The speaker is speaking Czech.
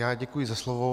Já děkuji za slovo.